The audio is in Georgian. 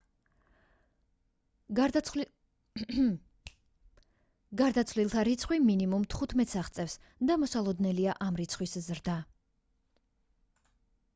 გარდაცვლილთა რიცხვი მინიმუმ 15-ს აღწევს და მოსალოდნელია ამ რიცხვის ზრდა